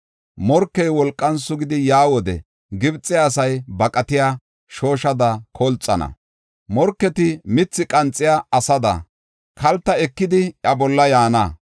Morkey wolqan sugidi yaa wode, Gibxe asay baqatiya shooshada kolxana. Morketi mithi qanxiya asada, kalta ekidi iya bolla yaana.